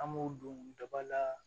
An m'o don daba la